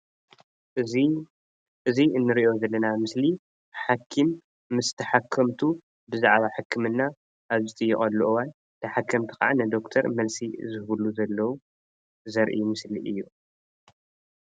እዚ እዚ እንሪኦ ዘለና ምስሊ ሓኪም ምስ ተሓከምቱ ብዛዕባ ሕክምና ኣብ ዝጥየቀሉ እዋን ተሓከምቲ ከዓ ንደኩተር መልሲ ዝህብሉ ዘለዉ ዘርኢ ምስሊ እዩ፡፡